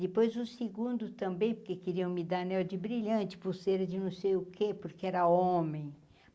Depois, o segundo também, porque queriam me dar anel de brilhante, pulseira de não sei o que, porque era homem.